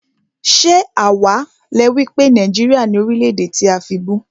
Ṣé àwá le wípé Nàìjíríà ni Orílè-èdè tí a fibú?